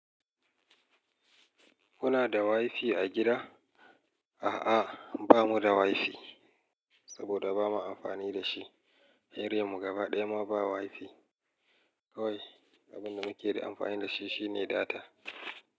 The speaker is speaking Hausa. Kuna da wifi a gida? A'a, bamuda wifi saboda bama amfani dashi. Area mu gaba ɗaya ma ba wifi. Kawai abinda muke da amfani dashi shine data.